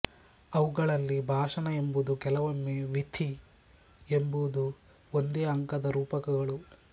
ಅವುಗಳಲ್ಲಿ ಭಾಣ ಎಂಬುದು ಕೆಲವೊಮ್ಮೆ ವೀಥೀ ಎಂಬುದು ಒಂದೇ ಅಂಕದ ರೂಪಕಗಳು